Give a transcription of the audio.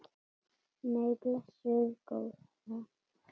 Nei, blessuð góða.